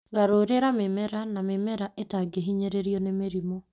Garũrĩra mĩmera ,na mĩmera ĩtangĩhinyĩrĩrio nĩ mĩrimũ